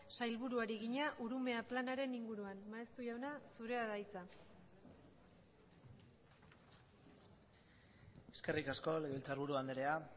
sailburuari egina urumea planaren inguruan maeztu jauna zurea da hitza eskerrik asko legebiltzarburu andrea